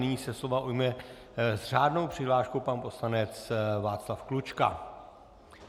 Nyní se slova ujme s řádnou přihláškou pan poslanec Václav Klučka.